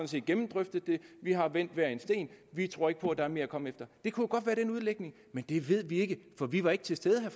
set gennemdrøftet det vi har vendt hver en sten vi tror ikke på at der er mere at komme efter det kunne jo godt være den udlægning men det ved vi ikke for vi var ikke til stede vil